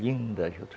Linda juta.